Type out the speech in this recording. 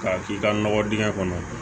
K'a k'i ka nɔgɔ dingɛ kɔnɔ